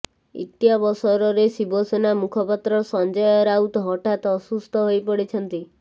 ଇତ୍ୟବସରରେ ଶିବସେନା ମୁଖପାତ୍ର ସଞ୍ଜୟ ରାଉତ ହଠାତ ଅସୁସ୍ଥ ହୋଇପଡିଛନ୍ତି